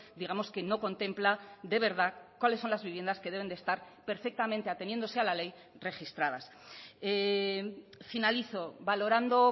digamos que no contempla de verdad cuáles son las viviendas que deben de estar perfectamente ateniéndose a la ley registradas finalizo valorando